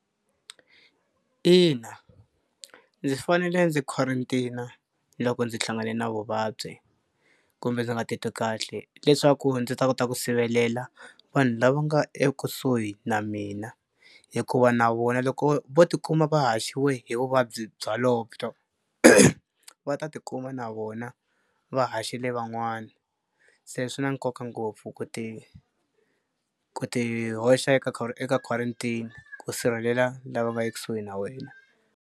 Ina ndzi fanele ndzi quarantine-a loko ndzi hlangane na vuvabyi kumbe ndzi nga titwi kahle leswaku ndzi ta kota ku sivelela vanhu lava nga ekusuhi na mina hikuva na vona loko vo tikuma va haxiwe hi vuvabyi bya va ta tikuma na vona va haxile van'wani. Se swi na nkoka ngopfu ku ti ku ti hoxa eka eka quarantine ku sirhelela lava nga ekusuhi na wena.